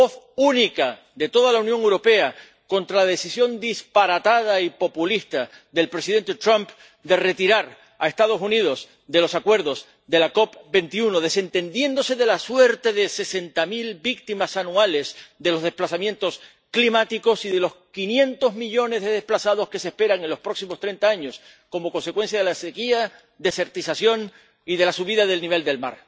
Voz única de toda la Unión Europea contra la decisión disparatada y populista del presidente Trump de retirar a los Estados Unidos de los acuerdos de la COP 21, desentendiéndose de la suerte de sesenta mil víctimas anuales de los desplazamientos climáticos y de los quinientos millones de desplazados que se esperan en los próximos treinta años como consecuencia de la sequía, la desertización y la subida del nivel del mar.